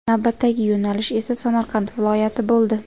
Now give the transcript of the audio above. Navbatdagi yo‘nalish esa Samarqand viloyati bo‘ldi.